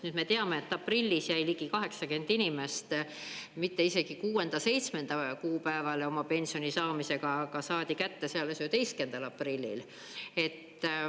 Nüüd me teame, et aprillis jäi ligi 80 inimest mitte isegi kuuenda-seitsmenda kuupäevale oma pensioni saamisega, vaid saadi kätte alles 11. aprillil.